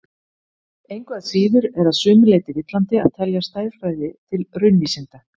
Engu að síður er að sumu leyti villandi að telja stærðfræði til raunvísinda.